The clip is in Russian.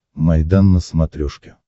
майдан на смотрешке